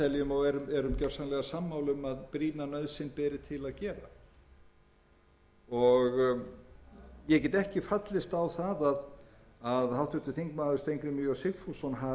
nauðsyn beri til að gera ég get ekki fallist á það að háttvirtur þingmaður steingrímur j sigfússon hafi farið fram með óeðlilegum hætti þegar hann leitaði eftir því hvort möguleiki